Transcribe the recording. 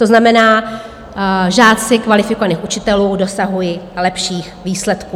To znamená, že žáci kvalifikovaných učitelů dosahují lepších výsledků.